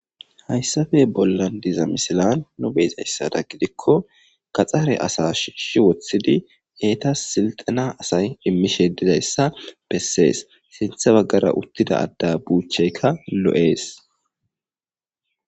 Hayssape bollan diza misilan nu be7izaysada gidikko gaxare asaa shiishi wothididi eetas silxxena asay immishe dizayssa bessees. Sinthe baggara uttida adda buucheyka lo7ees.